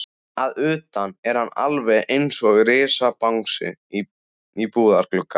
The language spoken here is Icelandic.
Að utan er hann alveg einsog risabangsi í búðarglugga.